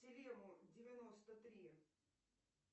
тилему девяносто три